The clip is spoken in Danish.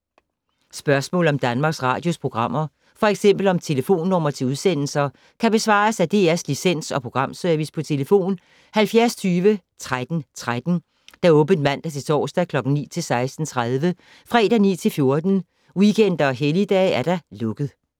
Spørgsmål om Danmarks Radios programmer, f.eks. om telefonnumre til udsendelser, kan besvares af DR Licens- og Programservice: tlf. 70 20 13 13, åbent mandag-torsdag 9.00-16.30, fredag 9.00-14.00, weekender og helligdage: lukket.